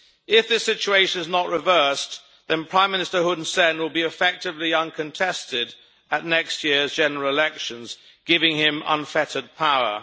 If this situation is not reversed, then Prime Minister Hun Sen will be effectively uncontested at next year's general elections, giving him unfettered power.